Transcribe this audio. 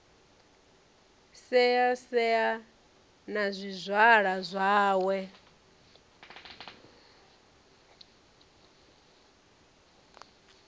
sei sei na zwizwala zwawe